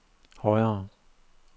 højere